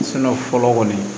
fɔlɔ kɔni